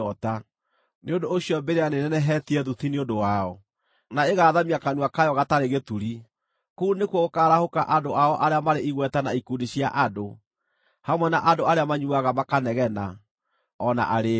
Nĩ ũndũ ũcio mbĩrĩra nĩĩnenehetie thuti nĩ ũndũ wao, na ĩgaathamia kanua kayo gatarĩ gĩturi; kũu nĩkuo gũkaaharũrũka andũ ao arĩa marĩ igweta na ikundi cia andũ, hamwe na andũ arĩa manyuuaga makanegena, o na arĩĩu.